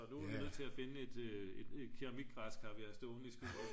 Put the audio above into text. og nu er vi nødt til at finde et keramikgræskar vi har stående i skuret